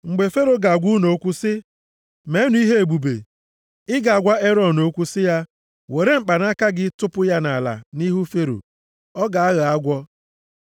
“Mgbe Fero ga-agwa unu okwu sị, ‘Meenụ ihe ebube.’ Ị ga-agwa Erọn okwu sị ya, ‘Were mkpanaka gị tụpụ ya nʼala nʼihu Fero.’ Ọ ga-aghọ agwọ.”